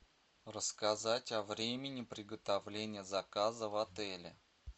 рассказать о времени приготовления заказа в отеле